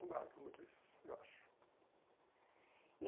Ela marca muito isso, eu acho. E